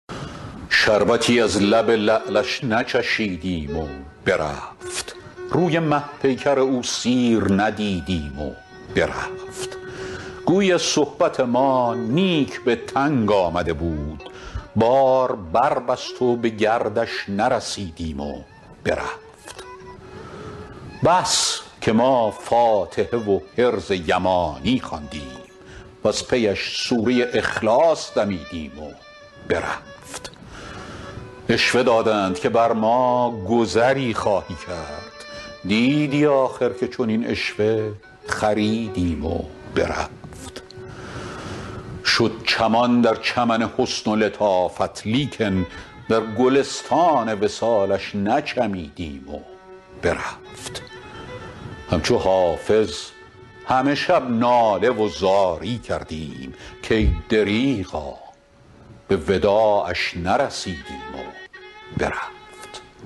شربتی از لب لعلش نچشیدیم و برفت روی مه پیکر او سیر ندیدیم و برفت گویی از صحبت ما نیک به تنگ آمده بود بار بربست و به گردش نرسیدیم و برفت بس که ما فاتحه و حرز یمانی خواندیم وز پی اش سوره اخلاص دمیدیم و برفت عشوه دادند که بر ما گذری خواهی کرد دیدی آخر که چنین عشوه خریدیم و برفت شد چمان در چمن حسن و لطافت لیکن در گلستان وصالش نچمیدیم و برفت همچو حافظ همه شب ناله و زاری کردیم کای دریغا به وداعش نرسیدیم و برفت